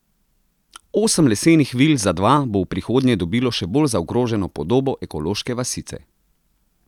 Osem lesenih vil za dva bo v prihodnje dobilo še bolj zaokroženo podobo ekološke vasice.